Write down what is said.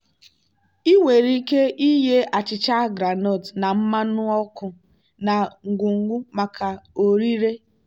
ị nwere ike ighe achicha groundnut na mmanụ ọkụ na ngwugwu maka ọrịre.